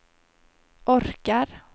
orkar